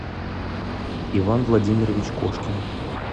иван владимирович кошкин